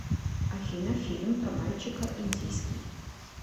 афина фильм про мальчика индийский